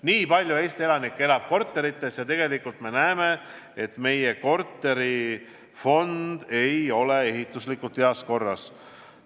Nii palju Eesti elanikke elab korterites ja tegelikult me näeme, et meie korterifond ei ole ehituslikult heas korras.